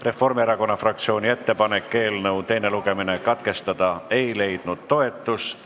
Reformierakonna fraktsiooni ettepanek eelnõu teine lugemine katkestada ei leidnud toetust.